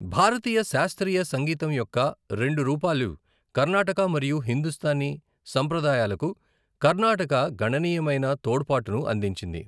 భారతీయ శాస్త్రీయ సంగీతంయొక్క రెండు రూపాలు కర్ణాటక మరియు హిందుస్తానీ సంప్రదాయాలకు కర్ణాటక గణనీయమైన తోడ్పాటును అందించింది.